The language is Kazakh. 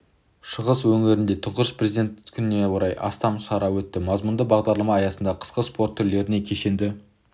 шығыс өңірінде тұңғыш президент күніне орай астам шара өтті мазмұнды бағдарлама аясында қысқы спорт түрлерінен кешенді